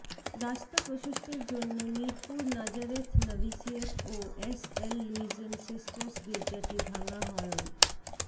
রাস্তা প্রশস্তের জন্য মিরপুর নাজারেথ নভিসিয়েট ও এসএল লুইজেন সিস্টারস গির্জাটি ভাঙা হয়ন